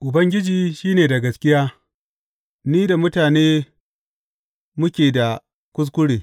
Ubangiji, shi ne da gaskiya, ni da mutane mu ke da kuskure.